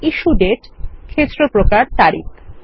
issue দাতে ক্ষেত্র প্রকার তারিখ